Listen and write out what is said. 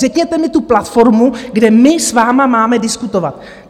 Řekněte mi tu platformu, kde my s vámi máme diskutovat?